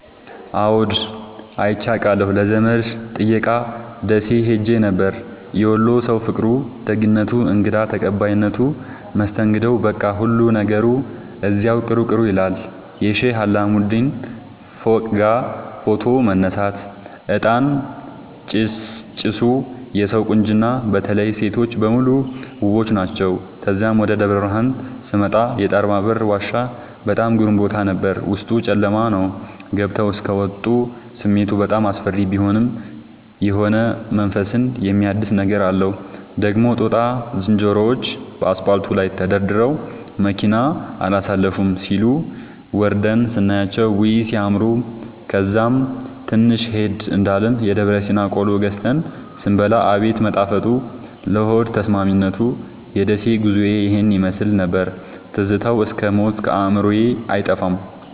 አዎድ አይቼ አቃለሁ ለዘመድ ጥየቃ ደሴ ኸሄ ነበር። የወሎ ሠዉ ፍቅሩ፣ ደግነቱ፣ እንግዳ ተቀባይነቱ መስተንግዶዉ በቃ ሁሉ ነገሩ እዚያዉ ቅሩ ቅሩ ይላል። የሼህ አላሙዲን ፎቅጋ ፎቶ መነሳት፤ እጣን ጭሣጭሡ የሠዉ ቁንጅና በተለይ ሤቶቹ በሙሉ ዉቦች ናቸዉ። ተዛም ወደ ደብረብርሀን ስመጣ የጣርማበር ዋሻ በጣም ግሩም ቦታ ነበር፤ ዉስጡ ጨለማ ነዉ ገብተዉ እስኪ ወጡ ስሜቱ በጣም አስፈሪ ቢሆንም የሆነ መንፈስን የሚያድስ ነገር አለዉ። ደግሞ ጦጣ ዝንሮዎቹ ከአስፓልቱ ላይ ተደርድረዉ መኪና አላሣልፍም ሢሉ፤ ወርደን ስናያቸዉ ዉይ! ሢያምሩ። ከዛም ትንሽ ሄድ እንዳልን የደብረሲና ቆሎ ገዝተን ስንበላ አቤት መጣፈጡ ለሆድ ተስማሚነቱ። የደሴ ጉዞዬ ይህን ይመሥል ነበር። ትዝታዉ እስክ ሞት ከአዕምሮየ አይጠፋም።